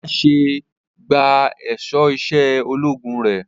Ọlá ṣẹ̀ṣẹ̀ gba aṣọ iṣẹ́ ológun rẹ̀